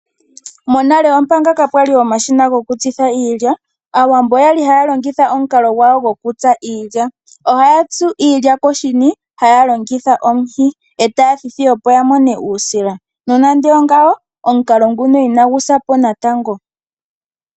Monale omanga kapwali omashina gokutsitha iilya, aawambo oyali haya longitha omukalo gwawo gokutsa iilya. Ohaya tsu iilya koshini taya longitha omuhi, eta thithi opo amone uusila, nonando ongawo omukalo nguno onagu sa po natango.